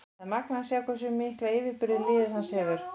Það er magnað að sjá hversu mikla yfirburði liðið hans hefur.